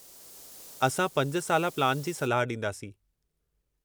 असां 5-साला प्लान जी सलाह ॾींदासीं।